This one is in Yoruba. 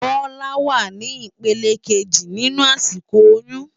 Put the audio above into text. Bola wá ni ipélé ikéji ninú àsikó óyùn